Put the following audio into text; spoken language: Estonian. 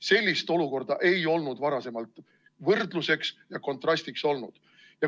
Sellist olukorda ei olnud varasemalt võrdluseks ja kontrastiks olnud.